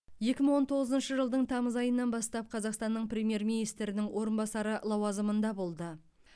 екі мың он тоғызыншы жылдың тамыз айынан бастап қазақстанның премьер министрінің орынбасары лауазымында болды